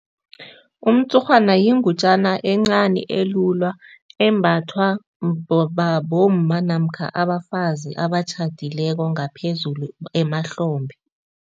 Umtshurhwana yingutjana encani elula, embathwa bomma namkha abafazi abatjhadileko, ngaphezulu emahlombe.